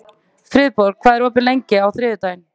Friðborg, hvað er opið lengi á þriðjudaginn?